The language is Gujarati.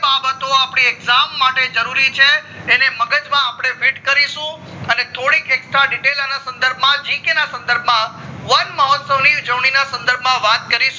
બાબતો અપડે exam માટે જરૂરી છે એને મગજ માં અપડે fit કરીશું અને થોડીક extra detail સંદર્ભ માં gk સંદર્ભ માં વન મહોત્સવન ની ઉજવણી ના સંદર્ભ માં વાત કરીશું